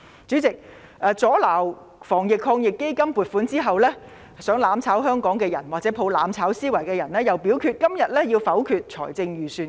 主席，阻撓防疫抗疫基金的撥款後，企圖"攬炒"香港的人和抱着"攬炒"思維的人又表示今天要否決預算案。